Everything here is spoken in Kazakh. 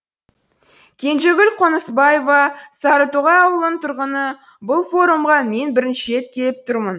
кенжегүл қонысбаева сарытоғай ауылының тұрғыны бұл форумға мен бірінші рет келіп тұрмын